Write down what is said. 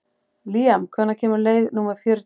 Líam, hvenær kemur leið númer fjörutíu?